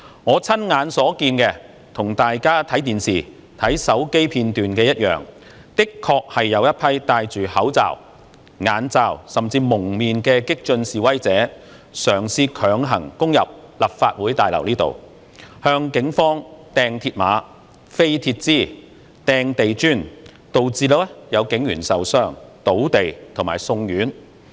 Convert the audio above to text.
我親眼所見，與大家看電視和手機片段一樣，的確有一群戴着口罩、眼罩，甚至蒙面的激進示威者，嘗試強行攻入立法會大樓，向警方擲鐵馬、擲鐵枝、擲地磚，導致有警員受傷、倒地及送院。